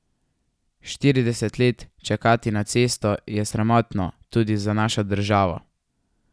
Štirideset let čakati na cesto je sramotno tudi za našo državo.